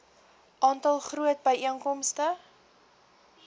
groot aantal byeenkomste